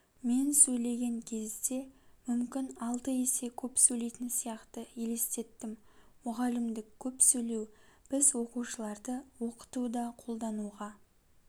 мен сөйлеген кезде мүмкін алты есе көп сөйлейтін сияқты елестеттім мұғалімдік көп сөйлеу біз оқушыларды оқытуда қолдануға